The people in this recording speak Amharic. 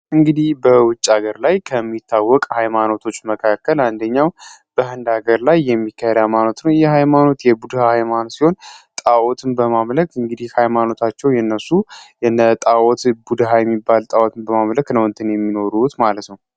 እንግዲህ በውጭ ሀገር ላይ ከሚታወቀ ኃይማኖቶች መካከል አንደኛው በህንድ ሀገር ላይ የሚካሄድ የሃይማኖት ይህ ሀይማኖት ቡድሃ ሀይማኖት ሲሆን፤ ጣኦትን በማምለክ እንግዲህ ሃይማኖታቸው እንግዲህ የነሱ ሀይማኖት የነ ጣኦትን ቡድሃ የሚባል ጣኦት በማመለክ ነው የሚኖሩት ማለት ነው።